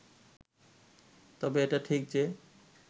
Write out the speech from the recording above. তবে এটা ঠিক যে